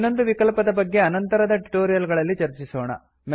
ಇನ್ನೊಂದು ವಿಕಲ್ಪದ ಬಗ್ಗೆ ಅನಂತರದ ಟ್ಯುಟೋರಿಯಲ್ ಗಳಲ್ಲಿ ಚರ್ಚಿಸೋಣ